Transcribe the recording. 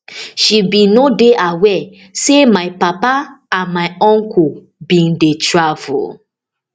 i bin no dey aware say my papa and my uncle bin dey travel